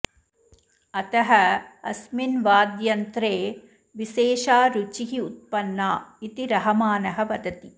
अतः अस्मिन् वाद्ययन्त्रे विशेषा रुचिः उत्पन्ना इति रहमानः वदति